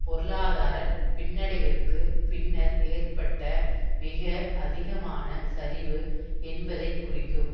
பொருளாதார பின்னடைவிற்கு பின்னர் ஏற்பட்ட மிக அதிகமான சரிவு என்பதை குறிக்கும்